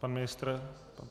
Pan ministr?